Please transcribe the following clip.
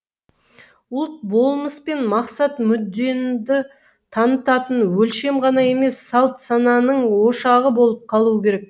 ұлт болмыс пен мақсат мүддеңді танытатын өлшем ғана емес салт сананың ошағы болып қалуы керек